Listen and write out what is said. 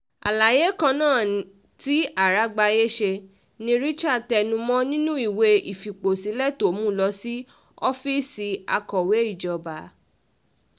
àlàyé kan náà tí àràgbáyé ṣe ni richard tẹnu um mọ́ nínú ìwé ìfipòsílẹ̀ tó mú lọ sí ọ́fíìsì akọ̀wé ìjọba um